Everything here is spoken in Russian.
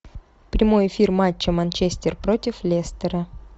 прямой эфир матча манчестер против лестера